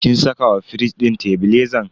kin saka wa firij din tebilezan?